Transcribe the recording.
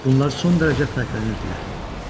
Bunlar son dərəcə fərqlənirdilər.